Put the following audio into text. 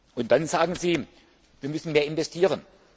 ist. Und dann sagen Sie Wir müssen mehr investieren.